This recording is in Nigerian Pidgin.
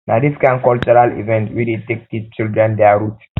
na dis kain cultural event we dey take teach children their root